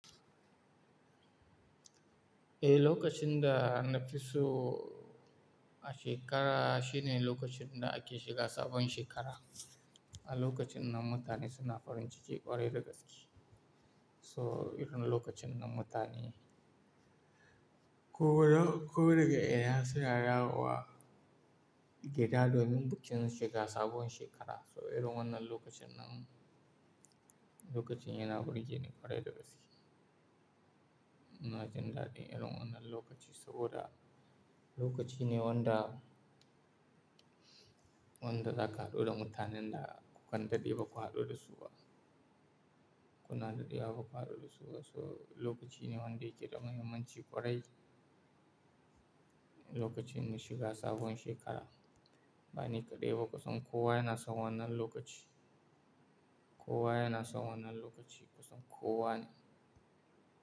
Eh, lokacin da na fi so a shekara shine lokacin da ake shiga sabon shekara. A lokacin nan mutane suna farin ciki ƙwarai da gaske. So irin lokacin nan mutane ko daga, ko daga ina su ya dawo, ke da domin bukin shiga sabon shekara. So, irin wannan lokacin nan, lokacin yana burge ni ƙwarai da gaske. Ina jin dadi irin wannan lokaci saboda lokaci ne wanda, wanda za ka haɗu da mutanen da kukan daɗe ba ku haɗu da su ba. Kuna daɗewa ba ku haɗu da su ba. So, lokaci ne wanda ke da mahimmanci ƙwarai. Lokacin mu shiga sabon shekara. Bani kaɗai ba kusan kowa yana son wannan lokaci. Kowa yana son wannan lokaci kusan kowa ne.